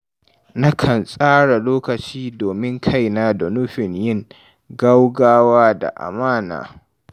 Na kan tsara lokaci domin kaina da nufin yin gaugawa da amana.